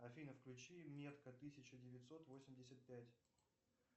афина включи метка тысяча девятьсот восемьдесят пять